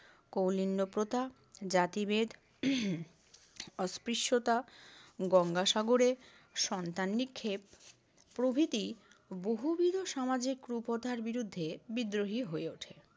কৌলিন্য প্রথা, জাতিভেদ অস্পৃশ্যতা, গঙ্গাসাগরে সন্তান নিক্ষেপ প্রভৃতি বহুবিদ সমাজের কুপ্রথার বিরুদ্ধে বিদ্রোহী হয়ে ওঠেন।